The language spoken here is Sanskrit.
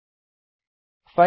अधुना कॉपी कृत्वा पस्ते करोमि